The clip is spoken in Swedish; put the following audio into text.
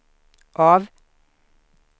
av